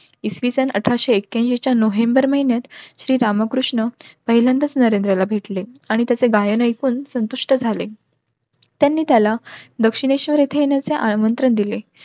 इसवी सन अठराशे एक्याऐन्शी च्या नोव्हेंबर महिन्यात श्री रामकृष्ण पहिल्यांदाच नरेंद्रला भेटले आणि त्याचे गायन ऐकून संतुष्ट झाले. त्यांनी त्याला दक्षिणेश्वर इथे येण्याचा आमंत्रण दिले.